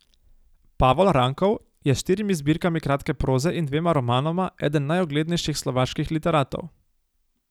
Pavol Rankov je s štirimi zbirkami kratke proze in dvema romanoma eden najuglednejših slovaških literatov.